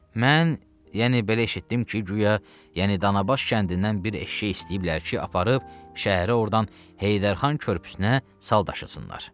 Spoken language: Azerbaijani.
Mən, yəni belə eşitdim ki, guya, yəni Danabaş kəndindən bir eşşək istəyiblər ki, aparıb şəhərə ordan Heydər Xan körpüsünə sal daşısınlar.